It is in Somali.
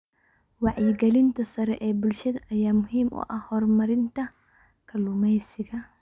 Wacyigelinta sare ee bulshada ayaa muhiim u ah horumarinta kalluumeysiga.